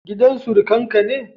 Gidan surukan ka ne?